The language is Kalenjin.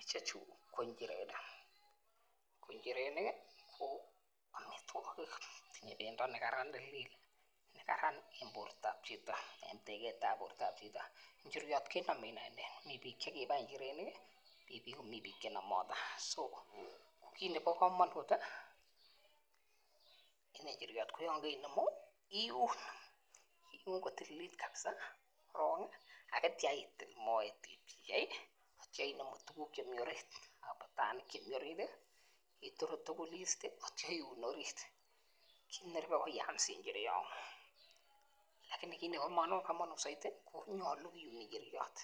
Ichechu ko inchirenik, inchirenik ko omitwokik yimue pendo nekararan tilil nekaran en bortab chito en teketab bortab chito. Inchiriot kenomen inendet mii bik chekibai inchirenik kii mii akomii bik chenomote so kit nebo komonut en inchiriot koyon keinemu iun iun kotililit kabisa korongi ak ityo itil moet ipchei ak inemu tukuk chemii orit abitanik chemii orit ituru tukul iste ak ityo iun orit, kit neribe ko iyamsi nchiriot lakini kit nebo komonut soiti nyolu kiun inchiriot